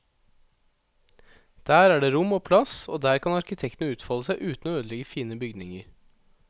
Der er det rom og plass, og der kan arkitektene utfolde seg uten å ødelegge fine bygninger.